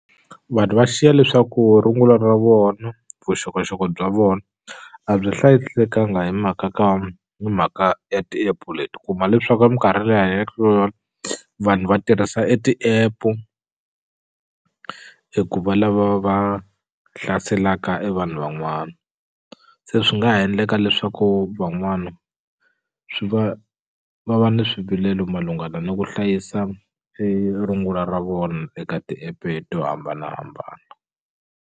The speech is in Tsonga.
Vanhu va xiya leswaku rungula ra vona vuxokoxoko bya vona a byi hlayisekanga hi mhaka ka hi mhaka ya ti-app-u leti u kuma leswaku a minkarhini leyi hi hanyaka ka yona vanhu va tirhisa e ti-ap-u hi ku va lava va hlaselaka e vanhu van'wana se swi nga ha endleka leswaku van'wana swi va va va ni swivilelo malungana ni ku hlayisa e rungula ra vona eka ti-app-e to hambanahambana.